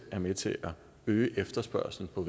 med til at øge efterspørgslen på